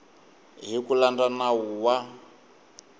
hi ku landza nawu wa